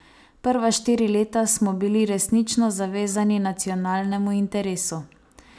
Prva štiri leta smo bili resnično zavezani nacionalnemu interesu.